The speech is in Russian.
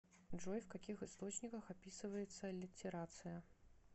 джой в каких источниках описывается аллитерация